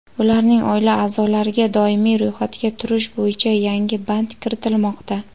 ularning oila aʼzolariga doimiy ro‘yxatga turish bo‘yicha yangi band kiritilmoqda.